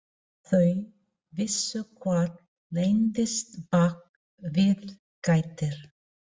Þau vissu hvað leyndist bak við gættir.